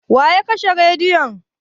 Wa ya kashe rediyo?